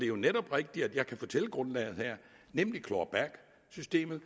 jo netop rigtigt at jeg kan fortælle grundlaget her nemlig claw back systemet